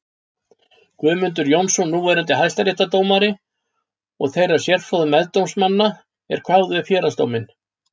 Guðmundar Jónssonar núverandi hæstaréttardómara og þeirra sérfróðu meðdómsmanna er kváðu upp héraðsdóminn.